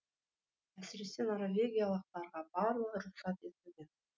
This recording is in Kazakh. әсіресе норвегиялықтарға барлығы рұқсат етілген